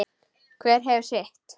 Hver hefur sitt.